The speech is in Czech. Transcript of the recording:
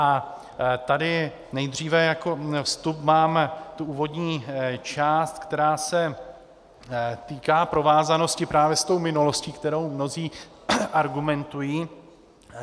A tady nejdříve jako vstup mám tu úvodní část, která se týká provázanosti právě s tou minulostí, kterou mnozí argumentují.